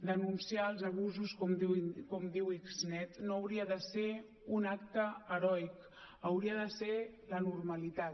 denunciar els abusos com diu xnet no hauria de ser un acte heroic hauria de ser la normalitat